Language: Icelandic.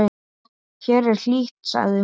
Hér er hlýtt, sagði hún.